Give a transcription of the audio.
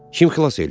Kim xilas eləyib?